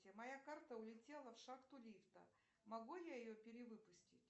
моя карта улетела в шахту лифта могу я ее перевыпустить